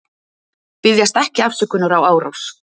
Biðjast ekki afsökunar á árás